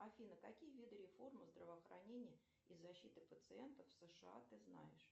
афина какие виды реформы здравоохранения и защиты пациентов в сша ты знаешь